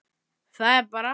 Það er bara.